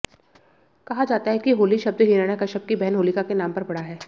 कहा जाता है कि होली शब्द हिरण्याकश्यप की बहन होलिका के नाम पर पड़ा है